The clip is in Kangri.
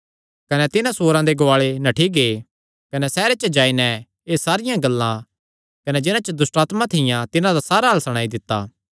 कने तिन्हां सूअरां दे गुआले नठ्ठी गै कने सैहरे च जाई नैं एह़ सारियां गल्लां कने जिन्हां च दुष्टआत्मां थियां तिन्हां दा सारा हाल सणाई दित्ता